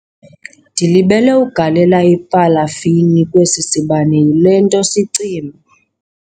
Ndilibele ukugalela ipalafini kwesi sibane, yile nto sicima.